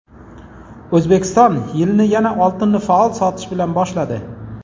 O‘zbekiston yilni yana oltinni faol sotish bilan boshladi.